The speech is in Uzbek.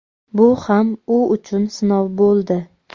Bu ham u uchun sinov bo‘ldi.